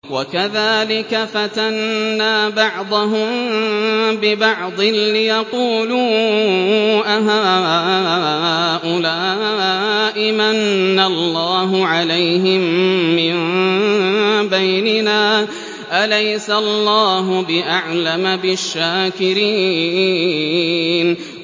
وَكَذَٰلِكَ فَتَنَّا بَعْضَهُم بِبَعْضٍ لِّيَقُولُوا أَهَٰؤُلَاءِ مَنَّ اللَّهُ عَلَيْهِم مِّن بَيْنِنَا ۗ أَلَيْسَ اللَّهُ بِأَعْلَمَ بِالشَّاكِرِينَ